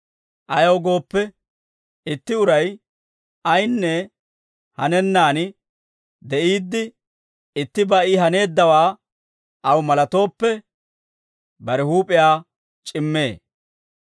Ayaw gooppe, itti uray ayinne hanennaan de'iidde, ittibaa I haneeddawaa aw malatooppe, bare huup'iyaa c'immee.